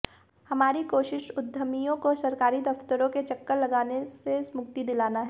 हमारी कोशिश उद्यमियों को सरकारी दफ्तरों के चक्कर लगाने से मुक्ति दिलाना है